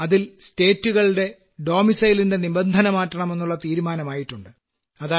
അതിൽ സംസ്ഥാനങ്ങളുടെ വാസസ്ഥല നിബന്ധന മാറ്റണമെന്നുള്ള തീരുമാനമായിട്ടുണ്ട്